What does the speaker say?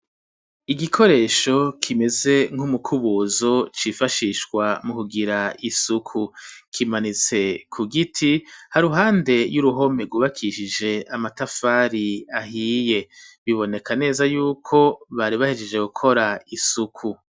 Igikoresho kimeze nk'umukubuzo cifashishwa mu kugira isuku kimanitse ku giti ha ruhande y'uruhome rwubakishije amatafari ahiye biboneka neza yuko bari bahejeje gukora isuku.